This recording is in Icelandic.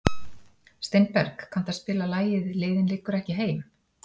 Steinberg, kanntu að spila lagið „Leiðin liggur ekki heim“?